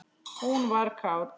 Hún var kát.